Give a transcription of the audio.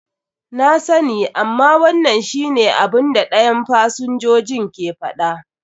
Na sani, amma wannan shi ne abun da dayan fsinjojin ke faɗa.